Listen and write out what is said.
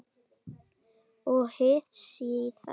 Og hið síðara